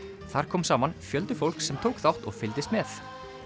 þar kom saman fjöldi fólks sem tók þátt og fylgdist með